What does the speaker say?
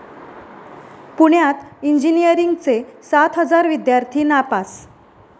पुण्यात इंजिनिअरींगचे सात हजार विद्यार्थी नापास